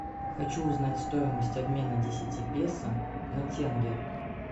хочу узнать стоимость обмена десяти песо на тенге